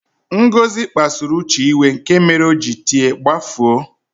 Ngozi kpasuru Uche iwe, nke mere o ji tie "gbafuo!"